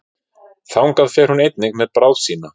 Þangað fer hún einnig með bráð sína.